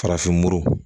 Farafin muru